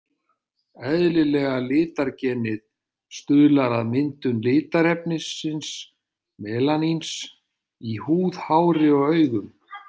Eðlilega litargenið stuðlar að myndun litarefnisins melaníns í húð, hári og augum.